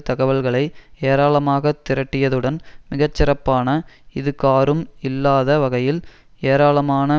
தகவல்களை ஏராளமாகத் திரட்டியதுடன் மிக சிறப்பான இதுகாறும் இல்லாத வகையில் ஏராளமான